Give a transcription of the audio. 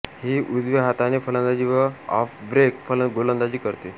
ही उजव्या हाताने फलंदाजी व ऑफब्रेक गोलंदाजी करते